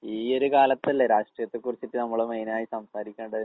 ഈയൊര് കാലത്തല്ലേ രാഷ്ട്രീയത്തെക്കുറിച്ചിട്ട് നമ്മള് മെയിനായി സംസാരിക്കേണ്ടത്.